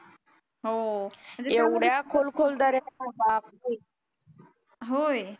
होय